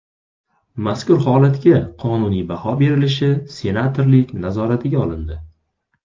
Mazkur holatga qonuniy baho berilishi senatorlik nazoratiga olindi.